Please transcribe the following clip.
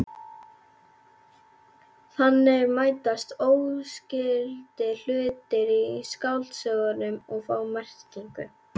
Þannig mætast óskyldir hlutir í skáldsögum og fá merkingu.